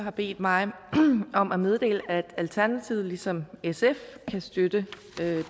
har bedt mig om at meddele at alternativet ligesom sf kan støtte